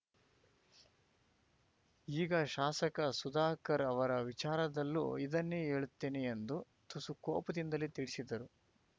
ಈಗ ಶಾಸಕ ಸುಧಾಕರ್‌ ಅವರ ವಿಚಾರದಲ್ಲೂ ಇದನ್ನೇ ಹೇಳುತ್ತೇನೆ ಎಂದು ತುಸು ಕೋಪದಿಂದಲೇ ತಿಳಿಸಿದರು